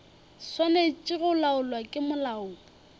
swanetše go laolwa ke molao